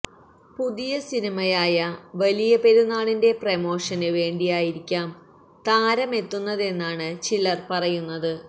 പുതിയ സിനിമയായ വലിയ പെരുന്നാളിന്റെ പ്രമോഷന് വേണ്ടിയായിരിക്കാം താരമെത്തുന്നതെന്നാണ് ചിലര് പറയുന്നത്